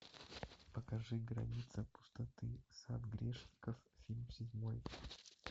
покажи граница пустоты сад грешников фильм седьмой